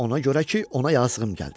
Ona görə ki, ona yazığım gəldi.